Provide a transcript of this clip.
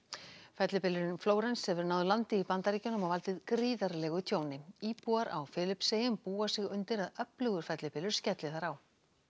fellibylurinn Flórens hefur náð landi í Bandaríkjunum og valdið gríðarlegu tjóni íbúar á Filippseyjum búa sig undir að öflugur fellibylur skelli þar á